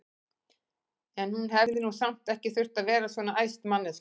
En hún hefði nú samt ekki þurft að verða svona æst, manneskjan!